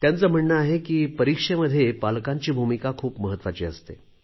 त्यांचे म्हणणे आहे की परीक्षेमध्ये पालकांची भूमिका खूप महत्त्वाची असते